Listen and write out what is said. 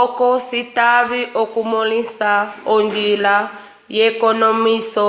oco citave okumõlisa onjila yekonomwiso